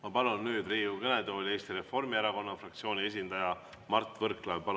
Ma palun nüüd Riigikogu kõnetooli Eesti Reformierakonna fraktsiooni esindaja Mart Võrklaeva.